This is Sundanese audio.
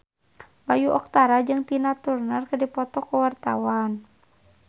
Bayu Octara jeung Tina Turner keur dipoto ku wartawan